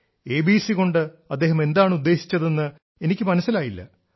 ABC കൊണ്ട് അദ്ദേഹം എന്താണ് ഉദ്ദേശിച്ചതെന്ന് എനിക്ക് മനസ്സിലായില്ല